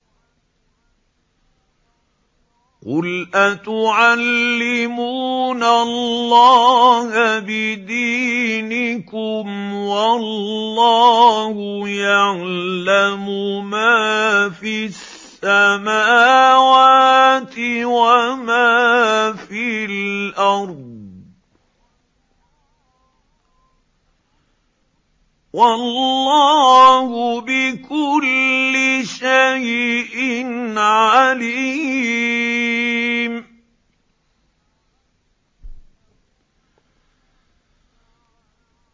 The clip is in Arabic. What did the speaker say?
قُلْ أَتُعَلِّمُونَ اللَّهَ بِدِينِكُمْ وَاللَّهُ يَعْلَمُ مَا فِي السَّمَاوَاتِ وَمَا فِي الْأَرْضِ ۚ وَاللَّهُ بِكُلِّ شَيْءٍ عَلِيمٌ